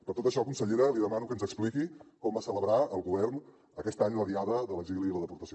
per tot això consellera li demano que ens expliqui com va celebrar el govern aquest any la diada de l’exili i la deportació